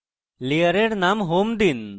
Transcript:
layer name home দিন